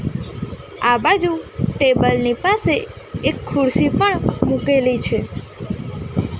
આ બાજુ ટેબલ ની પાસે એક ખુરસી પણ મૂકેલી છે.